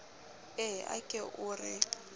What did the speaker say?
ee a ke o re